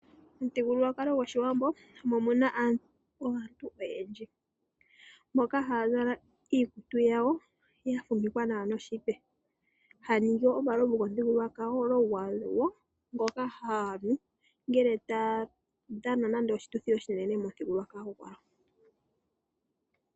Momuthigululwakalo gwoshiwambo omuna aantu oyendji mboka haya zala iikutu yawo yafumikwa nawa noshidhe. Ohaya ningi omalovu gomuthigululwakalo gwawo ngoka haya nu ngele taya dhana nenge oshituthi oshinene momuthigululwakalo gwawo.